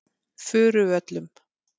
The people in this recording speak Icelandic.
Furuvöllum